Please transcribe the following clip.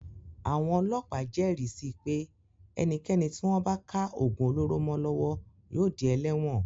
Àwon ọlọ́pàá jẹ́ẹ̀rí si pé ẹnikẹ́ni tí wọ́n bá ká ògùn olóró mọ́ lọ́wọ́ yóò di ẹlẹ́wọ̀n.